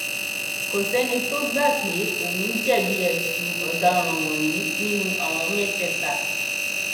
kò sẹni tó gbà pé òun jẹbi ẹsùn ọdaràn wọnyí nínú àwọn mẹtẹẹta